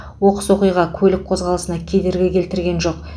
оқыс оқиға көлік қозғалысына кедергі келтірген жоқ